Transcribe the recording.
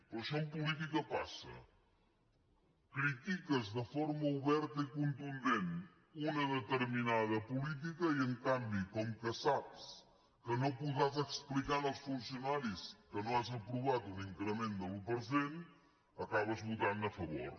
però això en política passa critiques de forma oberta i contundent una determinada política i en canvi com que saps que no podràs explicar als funcionaris que no has aprovat un increment de l’un per cent acabes votant a favor